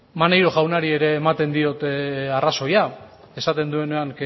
maneiro jaunari ere ematen diot arrazoia esaten duenean